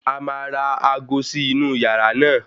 A máa ra aago sí inú yàrá náà.